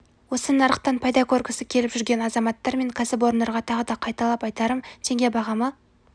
осы нарықтан пайда көргісі келіп жүрген азаматтар мен кәсіпорындарға тағы да қайталап айтарым теңге бағамы